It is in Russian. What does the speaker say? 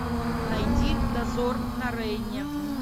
найди дозор на рейне